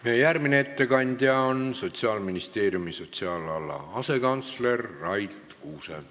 Meie järgmine ettekandja on Sotsiaalministeeriumi sotsiaalala asekantsler Rait Kuuse.